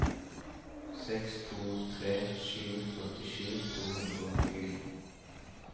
seks to tre sju førtisju to hundre og tjueni